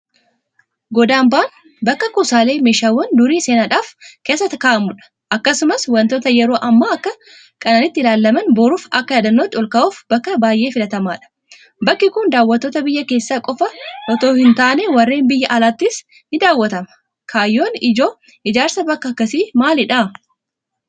Godambaan bakka kuusaalee meeshaawwan durii seenaadhaaf keessa kaa'amudha. Akkasumas waantota yeroo amma akka qananiitti ilaalaman boruuf akka yaadannootti olkaa'uuf bakka baay'ee filatamaadha. Bakki kun daawwattoota biyya keessaa qofa itoo hintaane warreen biyya alaatiinis nidaawwatama. Kaayyoon ijoo ijaarsa bakka akkasii maalidha?